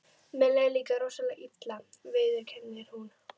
Mér leið líka rosalega illa, viðurkennir hún.